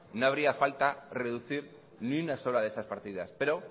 no haría falta reducir ni una sola de esas partidas pero